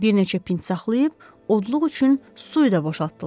Bir neçə pint saxlayıb odluq üçün suyu da boşaltdılar.